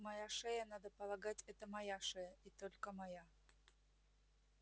моя шея надо полагать это моя шея и только моя